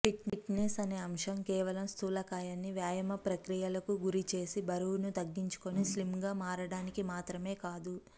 fitness అనే అంశం కేవలం స్థూలకాయాన్ని వ్యాయామ ప్రక్రియలకు గురి చేసి బరువును తగ్గించుకుని స్లిమ్గా మారడానికి మాత్రమే కాదు